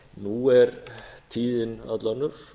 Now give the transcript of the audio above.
nú er tíðin öll önnur